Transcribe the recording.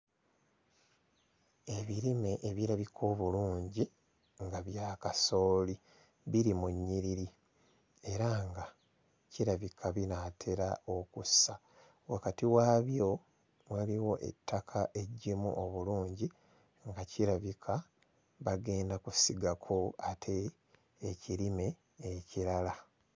Ebirime ebirabika obulungi nga bya kasooli biri mu nnyiriri era nga kirabika binaatera okussa wakati waabyo waliwo ettaka eggimu obulungi nga kirabika bagenda kusigako ate ekirime ekirala.